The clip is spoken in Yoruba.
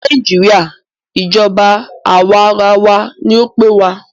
Ní nàìjíría, ìjọba àwàrawa ní o pé wa.